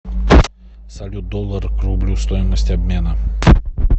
салют доллар к рублю стоимость обмена